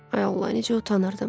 Ay Allah, necə utanırdım!